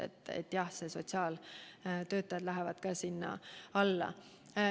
Nii et jah, ka sotsiaaltöötajad kuuluvad nende hulka.